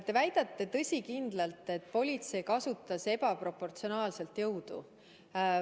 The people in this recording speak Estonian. Te väidate tõsikindlalt, et politsei kasutas ebaproportsionaalset jõudu.